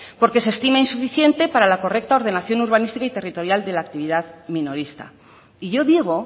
porque se estima insuficiente para la correcta ordenación urbanística y territorial de la actividad minorista y yo digo